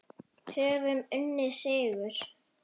Höfum unnið sigur.